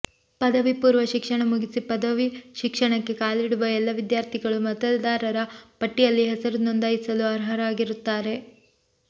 ಪದವಿಪೂರ್ವ ಶಿಕ್ಷಣ ಮುಗಿಸಿ ಪದವಿ ಶಿಕ್ಷಣಕ್ಕೆ ಕಾಲಿಡುವ ಎಲ್ಲ ವಿದ್ಯಾರ್ಥಿಗಳು ಮತದಾರರ ಪಟ್ಟಿಯಲ್ಲಿ ಹೆಸರು ನೋಂದಾಯಸಲು ಅರ್ಹರಾಗಿರುತ್ತಾರೆ